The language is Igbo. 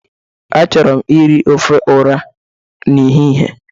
Achọrọ m iri ofe ọra n'ehihe.